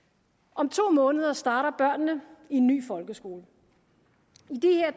om to måneder starter børnene i en ny folkeskole